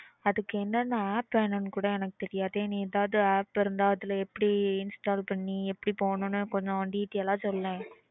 அதுக்கு என்னன்ன app வேணும்னு கூட எனக்கு தெரியாதே நீ எதாவது app இருந்தா அதுல எப்படி install பண்ணி எப்படி போனும்னு கொஞ்சம் detail ஆ சொல்லேன்.